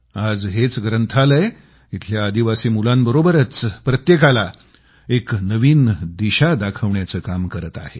आज हेच ग्रंथालय इथल्या आदिवासी मुलांबरोबरच प्रत्येकाला एक नवीन दिशा दाखवण्याचं काम करत आहे